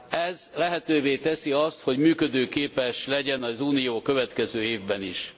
Ez lehetővé teszi azt, hogy működőképes legyen az Unió a következő évben is.